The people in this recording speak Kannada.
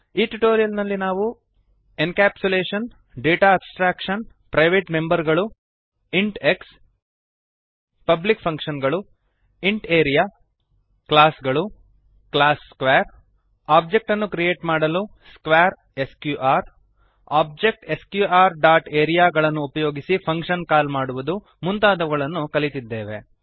ಈ ಟ್ಯುಟೋರಿಯಲ್ ನಲ್ಲಿ ನಾವು encapsulation data abstraction private member ಗಳು ಇಂಟ್ x ಪಬ್ಲಿಕ್ ಫಂಕ್ಶನ್ ಗಳು ಇಂಟ್ ಆರಿಯಾ ಕ್ಲಾಸ್ ಗಳು ಕ್ಲಾಸ್ ಸ್ಕ್ವೇರ್ ಒಬ್ಜೆಕ್ಟ್ ಅನ್ನು ಕ್ರಿಯೇಟ್ ಮಾಡಲು square sqr object sqr dot area ಗಳನ್ನು ಉಪಯೋಗಿಸಿ ಫಂಕ್ಶನ್ ಕಾಲ್ ಮಾಡುವುದು ಮುಂತಾದವುಗಳನ್ನು ಕಲಿತಿದ್ದೇವೆ